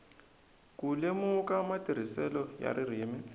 ku lemuka matirhiselo ya ririmi